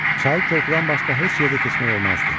Çayı körpüdən başqa heç yerdə keçmək olmazdı.